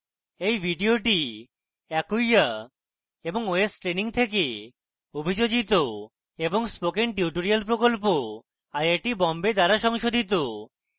এই video acquia এবং ostraining থেকে অভিযোজিত এবং spoken tutorial প্রকল্প আইআইটি বোম্বে দ্বারা সংশোধিত